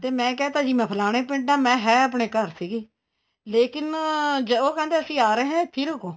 ਤੇ ਮੈਂ ਕਿਹਾ ਭਾਜੀ ਮੈਂ ਫਲਾਣੇ ਪਿੰਡ ਆ ਮੈਂ ਹੈ ਆਪਣੇ ਘਰ ਸੀਗੀ ਲੇਕਿਨ ਉਹ ਕਹਿੰਦੇ ਅਸੀਂ ਆ ਰਹੇ ਆ ਇੱਥੇ ਰੁਕੋ